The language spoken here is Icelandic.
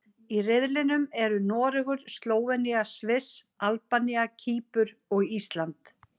Í riðlinum eru Noregur, Slóvenía, Sviss, Albanía, Kýpur og Ísland.